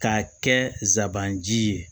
K'a kɛ zanji ye